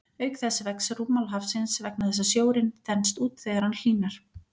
Auk þess vex rúmmál hafsins vegna þess að sjórinn þenst út þegar hann hlýnar.